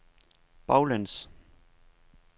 baglæns